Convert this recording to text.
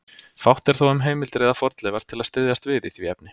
Fátt er þó um heimildir eða fornleifar til að styðjast við í því efni.